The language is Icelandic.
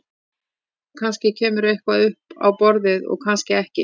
Kannski kemur eitthvað upp á borðið og kannski ekki.